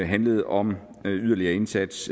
handlede om en yderligere indsats